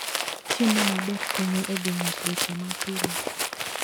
Chiemo maber konyo e geng'o tuoche ma pile.